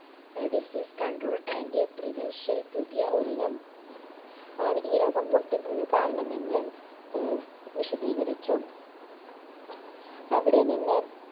disease control antiprevential പുതിയ ഒരിനം ആണ് ഈ രോഗം പൊട്ടി പ് കാരണമെന്ന് ഏർ വിശദീകരിച്ചു അവിടെ നിന്ന്